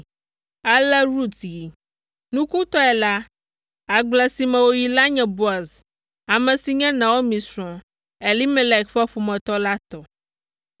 Ale Rut yi. Nukutɔe la, agble si me wòyi la nye Boaz, ame si nye Naomi srɔ̃, Elimelek ƒe ƒometɔ la tɔ.